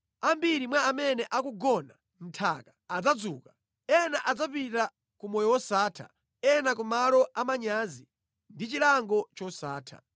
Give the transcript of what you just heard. Ambiri mwa amene akugona mʼnthaka adzadzuka: ena adzapita ku moyo wosatha, ena ku malo amanyazi ndi chilango chosatha.